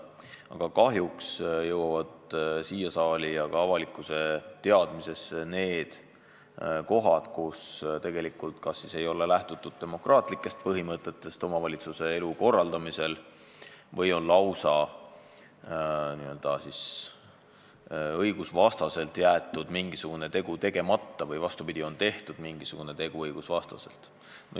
Aga kahjuks jõuavad siia saali ja ka avalikkuse teadvusse juhtumid, kus omavalitsuse elu korraldamisel kas ei ole lähtutud demokraatlikest põhimõtetest või on lausa õigusvastaselt jäetud mingisugune tegu tegemata või, vastupidi, on tehtud mingisugune tegu õigusvastaselt.